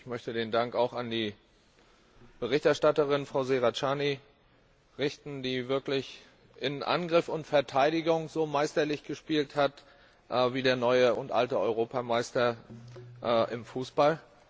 Ich möchte den Dank an die Berichterstatterin, Frau Serracchiani, richten, die wirklich in Angriff und Verteidigung so meisterlich gespielt hat wie der neue und alte Europameister im Fußball.